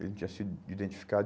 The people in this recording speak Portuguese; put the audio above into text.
Ele não tinha sido identificado.